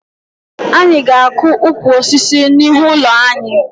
Anyị ga-akụ ukwu osisi n'ihu ụlọ anyị